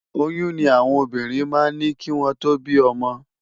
Óyùn ni áwòn óbírìn má n ni kiwòn tó bi òmò